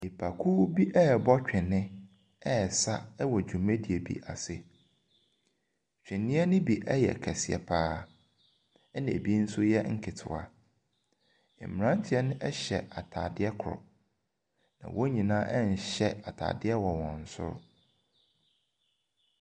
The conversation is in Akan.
Nipakuw bi rebɔ twene resa wɔ dwumadie bi ase. Twene no bi yɛ kɛseɛ pa ara. Ɛna ɛbi nso yɛ nketewa. Mmeranteɛ no hyɛ atadeɛ koro. Na wɔn nyinaa nhyɛ atadeɛ wɔ wɔn soro.